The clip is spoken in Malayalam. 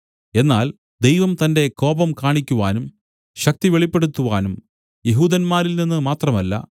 എന്നാൽ ദൈവം തന്റെ കോപം കാണിക്കുവാനും ശക്തി വെളിപ്പെടുത്തുവാനും യെഹൂദന്മാരിൽനിന്നു മാത്രമല്ല